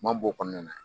Man b'o kɔnɔna na